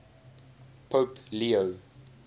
pope leo